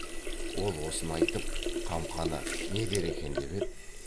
ол осыны айтып қамқаны не дер екен деп еді